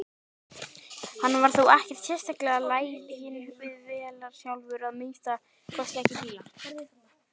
Hann var þó ekkert sérstaklega laginn við vélar sjálfur, að minnsta kosti ekki bíla.